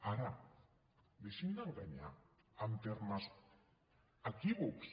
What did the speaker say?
ara deixin d’enganyar amb termes equívocs